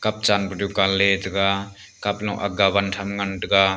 cup chan pe dukan le tega cup lung agga wan tham ngan tega.